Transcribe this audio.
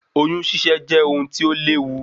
Oyún ṣíṣe jẹ́ ohun tí ó léwu